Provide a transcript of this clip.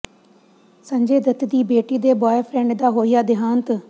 ਸੰਜੇ ਦੱਤ ਦੀ ਬੇਟੀ ਦੇ ਬੁਆਏਫ੍ਰੈਂਡ ਦਾ ਹੋਇਆ ਦਿਹਾਂਤ